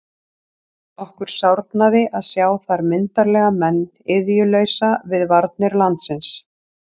Okkur sárnaði að sjá þar myndarlega menn iðjulausa við varnir landsins.